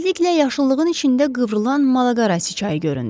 Tezliklə yaşılığın içində qıvrılan Malaqasi çayı göründü.